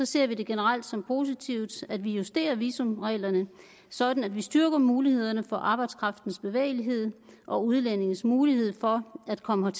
ser vi det generelt som positivt at vi justerer visumreglerne sådan at vi styrker mulighederne for arbejdskraftens bevægelighed og udlændinges mulighed for at komme